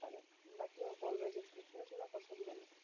বাকি ও বলবে যে, কৃষ্ণচূড়া পছেন্দের না।